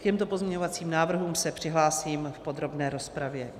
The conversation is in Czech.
K těmto pozměňovacím návrhům se přihlásím v podrobné rozpravě.